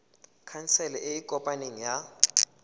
khansele e e kopaneng ya